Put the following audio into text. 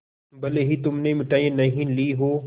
भले ही तुमने मिठाई नहीं ली हो